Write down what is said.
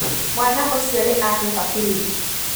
Mwaana ũcio nĩ ahuha biringi.